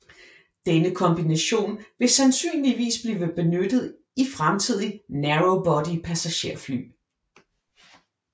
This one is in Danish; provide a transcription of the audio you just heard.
Denne kombination vil sandsynligvis blive benyttet i fremtidige narrow body passagerfly